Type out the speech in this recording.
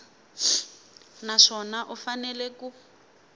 na swona u fanele ku